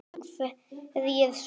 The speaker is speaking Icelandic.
Hverjir svo?